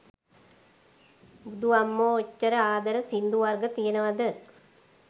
බුදු අම්මෝ ඔච්චර ආදර සිංදු වර්ග තියෙනව ද?